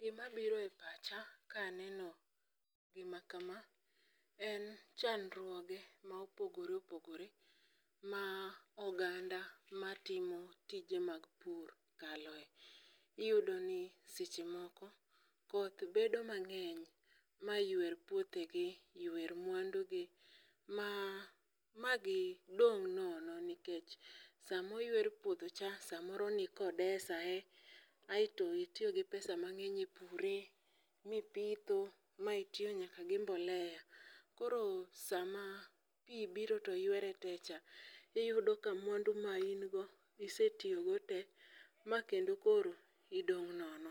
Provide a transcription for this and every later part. Gima biro e pacha ka aneno gima kama, en chandruoge mopogoreopogore, ma oganda matimo tije mag pur kaloe. Iyudo ni seche moko, koth bedo mang'eny maywer pwothegi, ywer mwandugi ma gidong' nono nikech sama oywer puodhocha, samoro nikodesae, aito itiyo gi pesa mang'eny e pure, mipitho, ma itiyo nyaka gi mbolea. Koro sama pii biro to ywere tee cha, iyudo ka mwandu mane ingo isetiyogo tee ma kendo koro idong' nono.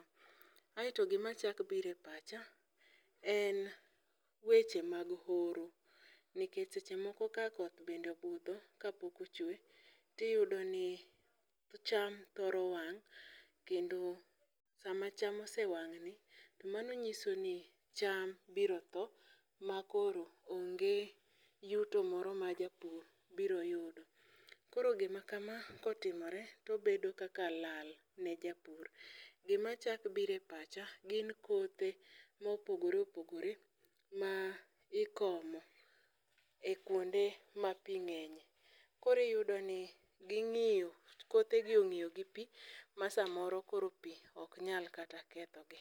Aito gima chak biro e pacha, en weche mag horo. Nikech seche moko ka koth bende obudho ka pok ochwee tiyudo ni cham thoro wang'.Kendo sama cham osewang' ni, to mano nyiso ni cham biro thoo ma koro onge yuto moro ma japur biro yudo. Koro gima kama kotimore, tobedo kaka lal ne japur. Gima chak biro e pacha, gin kothe mopogoreopogore ma ikomo e kuonde ma pii ng'enye. Koro iyudo ni ging'iyo, kothegi ong'iyo gi pii ma samoro koro pii ok nyal kata kethogi.